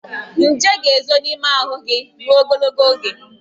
Nje ga-ezo n'ime ahụ gị ruo ogologo oge.